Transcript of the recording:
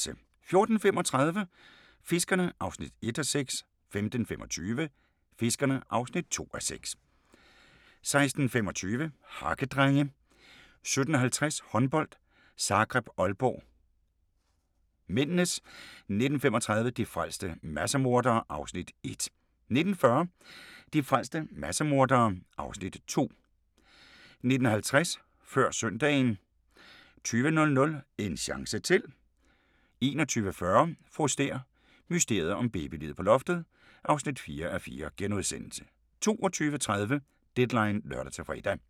14:35: Fiskerne (1:6) 15:25: Fiskerne (2:6) 16:25: Hakkedrenge 17:50: Håndbold: Zagreb-Aalborg (m) 19:35: De frelste massemordere (Afs. 1) 19:40: De frelste massemordere (Afs. 2) 19:50: Før søndagen 20:00: En chance til 21:40: Fru Stæhr og mysteriet om babyliget på loftet (4:4)* 22:30: Deadline (lør-fre)